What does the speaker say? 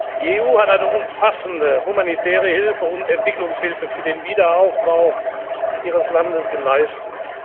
Die EU hat eine umfassende humanitäre Hilfe und Entwicklungshilfe für den Wiederaufbau Ihres Landes geleistet.